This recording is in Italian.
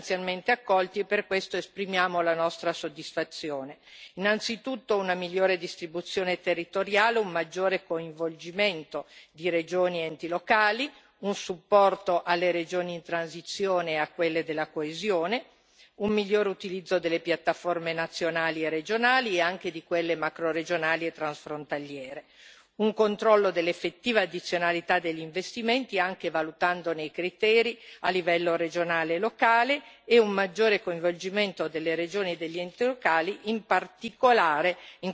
Innanzitutto una migliore distribuzione territoriale, un maggiore coinvolgimento di regioni ed enti locali, un supporto alle regioni in transizione e a quelle della coesione, un migliore utilizzo delle piattaforme nazionali e regionali, e anche di quelle macroregionali e transfrontaliere, un controllo dell'effettiva addizionalità degli investimenti, anche valutandone i criteri a livello regionale e locale, e un maggiore coinvolgimento delle regioni e degli enti locali, in particolare in quei progetti che vedono convergere EFSI e fondi strutturali.